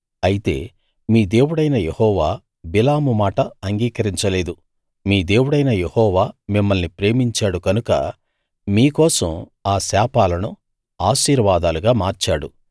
అయితే మీ దేవుడైన యెహోవా బిలాము మాట అంగీకరించలేదు మీ దేవుడైన యెహోవా మిమ్మల్ని ప్రేమించాడు కనుక మీకోసం ఆ శాపాలను ఆశీర్వాదాలుగా మార్చాడు